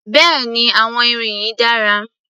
Bẹ́ẹ̀ni àwọn irin yìí dára